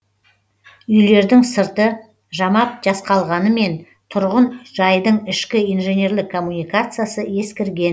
үйлердің сырты жамап жасқалғанымен тұрғын жайдың ішкі инженерлік коммуникациясы ескірген